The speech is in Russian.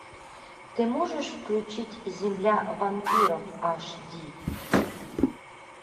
ты можешь включить земля вампиров аш ди